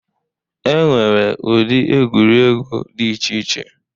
E nwere ụdị egwuregwu dị iche iche.